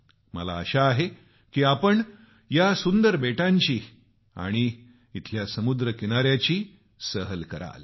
मला आशा आहे की आपण या सुंदर बेटांची आणि समुद्र किनाऱ्याची सैर कराल